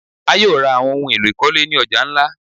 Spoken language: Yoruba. A yóò ra awọn ohun elọ̀ ikolé ni ọja nlá